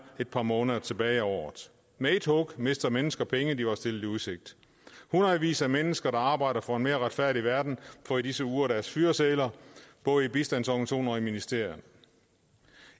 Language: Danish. et par måneder tilbage af året med ét hug mister mennesker penge de var blevet stillet i udsigt hundredvis af mennesker der arbejder for en mere retfærdig verden får i disse uger deres fyresedler både i bistandsorganisationer og i ministerier